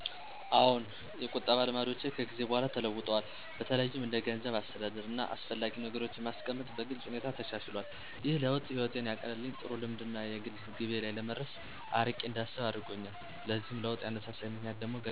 አዎን፣ የቁጠባ ልማዶቼ ከጊዜ በኋላ ተለውጠዋል። በተለይም እንደ ገንዘብ አስተዳደር፣ እና አስፈላጊ ነገሮችን ማስቀመጥ በግልጽ ሁኔታ ተሻሽሎል። ይህ ለውጥ ህይወቴን ያቀለልኝ ጥሩ ልምድ ነው እና የግል ግቤ ላይ ለመድረስ አርቄ እንዳስብ አደረጎኛል። ለዚህ ለውጥ ያነሳሳኝ ምክንያት ደግሞ ገንዘብ ባስፈለገኝ ሰዐት በቀላሉ ማግኘት አልቻልኩም ነበር ከዚ በተጨማሪ ደግሞ ቤተሰብ የሚሰጠኝን ምክር መተግበር በመጀመሬ ነው።